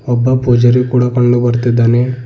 ಒಬ್ಬ ಪೂಜಾರಿ ಕೂಡ ಪಳ್ಳು ಬರ್ತ್ತಿದ್ದಾನೆ.